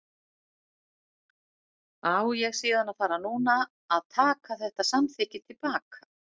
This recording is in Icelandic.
Á ég síðan að fara núna að taka þetta samþykki til baka?